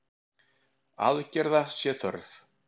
Aðgerða sé þörf.